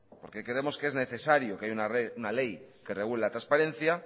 porque creemos que es necesario que haya una ley que regule la transparencia